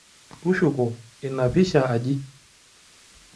Tushuko ina pisha aji.